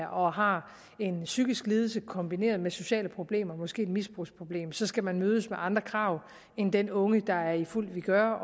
og har en psykisk lidelse kombineret med sociale problemer måske et misbrugsproblem så skal mødes af andre krav end den unge der er i fuld vigør